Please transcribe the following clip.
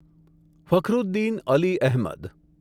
Fakhruddin Ali Ahmad